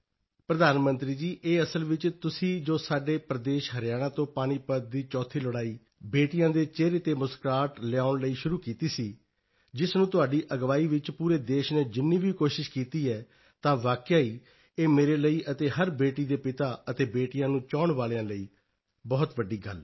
ਪ੍ਰਧਾਨ ਮੰਤਰੀ ਜੀ ਇਹ ਅਸਲ ਵਿੱਚ ਤੁਸੀਂ ਜੋ ਸਾਡੇ ਪ੍ਰਦੇਸ਼ ਹਰਿਆਣਾ ਤੋਂ ਪਾਣੀਪਤ ਦੀ ਚੌਥੀ ਲੜਾਈ ਬੇਟੀਆਂ ਦੇ ਚਿਹਰੇ ਤੇ ਮੁਸਕਰਾਹਟ ਲਿਆਉਣ ਲਈ ਸ਼ੁਰੂ ਕੀਤੀ ਸੀ ਜਿਸ ਨੂੰ ਤੁਹਾਡੀ ਅਗਵਾਈ ਵਿੱਚ ਪੂਰੇ ਦੇਸ਼ ਨੇ ਜਿੰਨੀ ਵੀ ਕੋਸ਼ਿਸ਼ ਕੀਤੀ ਹੈ ਤਾਂ ਵਾਕਿਆ ਹੀ ਇਹ ਮੇਰੇ ਲਈ ਅਤੇ ਹਰ ਬੇਟੀ ਦੇ ਪਿਤਾ ਅਤੇ ਬੇਟੀਆਂ ਨੂੰ ਚਾਹੁਣ ਵਾਲਿਆਂ ਲਈ ਬਹੁਤ ਵੱਡੀ ਗੱਲ ਹੈ